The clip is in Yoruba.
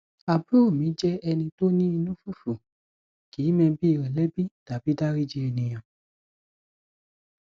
àbúrò mi jẹ ẹni tó ní inú fufu kìí mẹbi rẹ lẹbi tàbi dáríji ènìyàn